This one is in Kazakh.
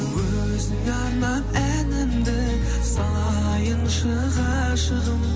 өзіңе арнап әнімді салайыншы ғашығым